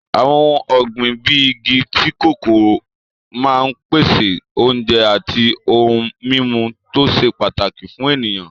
Àwọn ohun ọ̀gbìn bíi igi tíì kòkó máa ń pèsè oúnjẹ àti ohun-mímu tó ṣe pàtàkì fún ènìyàn.